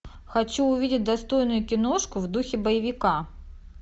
хочу увидеть достойную киношку в духе боевика